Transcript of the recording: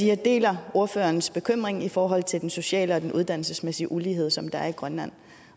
jeg deler ordførerens bekymring i forhold til den sociale og uddannelsesmæssige ulighed som der er i grønland